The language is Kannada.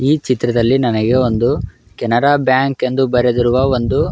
ಈ ಚಿತ್ರದಲ್ಲಿ ನನಗೆ ಒಂದು ಕೆನರಾ ಬ್ಯಾಂಕ್ ಎಂದು ಬರೆದಿರುವ ಒಂದು.